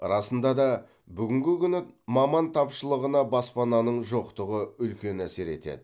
расында да бүгінгі күні маман тапшылығына баспананың жоқтығы үлкен әсер етеді